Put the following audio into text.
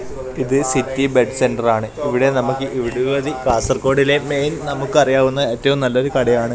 ഇത് city bed centre ആണ് ഇവിടെ നമുക്ക് നിരവധി കാസർകോടിലെ മെയിൻ നമുക്ക് അറിയാവുന്ന ഏറ്റവും നല്ലൊരു കടയാണ്.